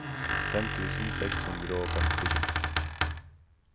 fem tusen seks hundre og femtisju